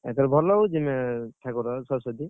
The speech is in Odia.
ଏଥର ଭଲ ହଉଛି ନା, ଠାକୁର ସରସ୍ୱତୀ?